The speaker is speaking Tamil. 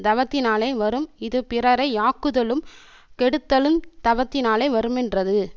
தவத்தினாலே வரும் இது பிறரை யாக்குதலும் கெடுத்தலுந் தவத்தினாலே வருமென்றது